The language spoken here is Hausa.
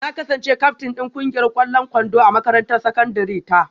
Na kasance kyaftin din kungiyar kwallon kwando a makarantar sakandare ta